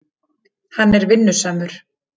Hann er vinnusamur.